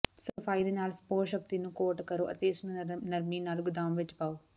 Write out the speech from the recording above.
ਸਫਾਈ ਦੇ ਨਾਲ ਸਪੌਸ਼ਸ਼ਕਤੀ ਨੂੰ ਕੋਟ ਕਰੋ ਅਤੇ ਇਸਨੂੰ ਨਰਮੀ ਨਾਲ ਗੁਦਾਮ ਵਿੱਚ ਪਾਓ